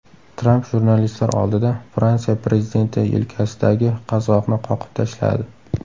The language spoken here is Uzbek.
Tramp jurnalistlar oldida Fransiya prezidenti yelkasidagi qazg‘oqni qoqib tashladi .